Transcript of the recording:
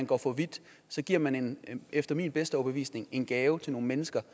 går for vidt så giver man efter min bedste overbevisning en gave til nogle mennesker